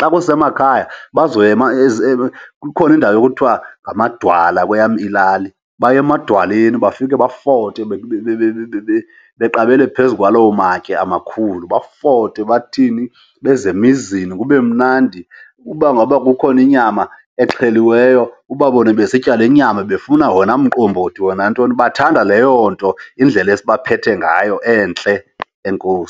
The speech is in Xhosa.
Xa kusemakhaya bazoya kukhona indawo ekuthiwa ngamadwala kweyam ilali. Baye emadwaleni bafike bafote beqabele phezu kwalawo matye amakhulu bafote, bathini, beze emizini kube mnandi. Uba ngaba kukhona inyama exheliweyo ubabone besitya le nyama, befuna wena mbombothi wena ntoni. Bathanda leyo nto, indlela esibaphethe ngayo entle. Enkosi.